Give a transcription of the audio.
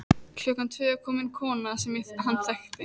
Klukkan tvö kom inn kona sem hann þekkti.